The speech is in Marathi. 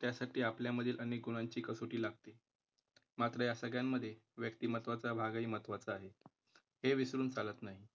त्यासाठी आपल्या मधील अनेक गुणांची कसोटी लागते. मात्र या सगळ्यांमध्ये व्यक्तिमत्त्वाचा भागही महत्त्वाचा आहे. हे विसरून चालत नाही.